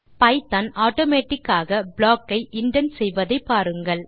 ஐபிதான் automatic ஆக block ஐ indent செய்வதை பாருங்கள்